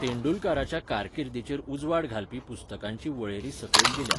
तेंडुलकाराच्या कारकिर्दीचेर उजवाड घालपी पुस्तकांची वळेरी सकयल दिल्या